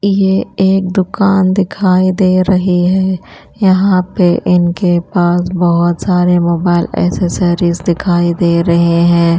ये एक दुकान दिखाई दे रही है यहाँ पे इनके पास बहुत सारे मोबाइल एक्सेसरीज दिखाई दे रहे हैं।